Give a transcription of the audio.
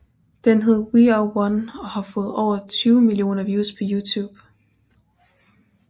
Den hed We Are One og har fået over 200 millioner views på Youtube